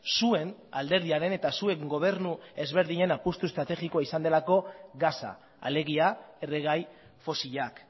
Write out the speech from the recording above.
zuen alderdiaren eta zuen gobernu ezberdinen apustu estrategikoa izan delako gasa alegia erregai fosilak